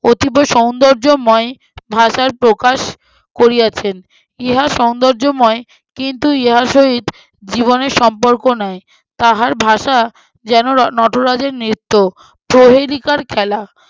অতীব সৌন্দর্যময় ভাষার প্রকাশ করিয়াছেন। ইহা সৌন্দর্যময় কিন্তু ইহার সহিত জীবনের সম্পর্ক নাই। তাহার ভাষা যেন ন~ নটরাজের নৃত্য- প্রহেলিকার খেলা।